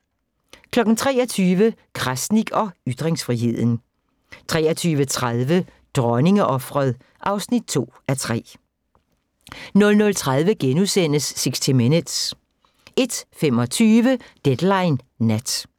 23:00: Krasnik og ytringsfriheden 23:30: Dronningeofret (2:3) 00:30: 60 Minutes * 01:25: Deadline Nat